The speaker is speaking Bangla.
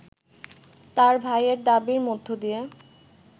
তার ভাইয়ের দাবির মধ্যদিয়ে